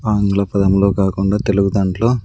ఆంగ్ల పదములో కాకుండా తెలుగు దాంట్లో--